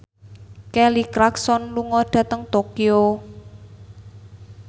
Kelly Clarkson lunga dhateng Tokyo